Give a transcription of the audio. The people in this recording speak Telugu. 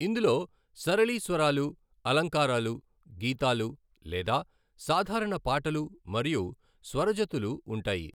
ఇందులో సరళి స్వరాలు, అలంకారాలు, గీతాలు లేదా సాధారణ పాటలు మరియు స్వరజతులు ఉంటాయి.